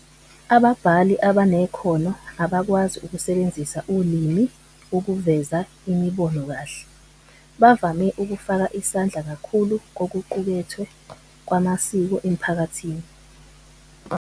Ababhali abanekhono abakwazi ukusebenzisa ulimi ukuveza imibono kahle, bavame ukufaka isandla kakhulu kokuqukethwe kwamasiko emphakathini.